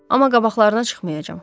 Amma qabaqlarına çıxmayacağam.